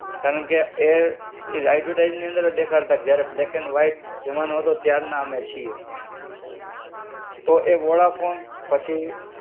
કારણ કે એ, એ એડ્વર્ટાઇઝની અંદર જ દેખાડતા જયારે બ્લેક એન્ડ વાઈટ, જમાનો હતો ત્યારના અમે છીએ. તો એ વોડાફોન, પછી